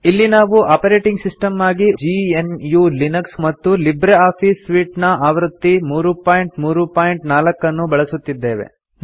ಇಲ್ಲಿ ನಾವು operating system ಆಗಿ ಜಿಎನ್ಯು ಲಿನಕ್ಸ್ ಅನ್ನು ಮತ್ತು ಲಿಬ್ರೆ ಆಫೀಸ್ ಸೂಟ್ ಆವೃತ್ತಿ 334 ಅನ್ನು ಬಳಸುತ್ತಿದ್ದೇವೆ